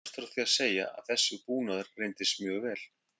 Er skemmst frá því að segja að þessi búnaður reyndist mjög vel.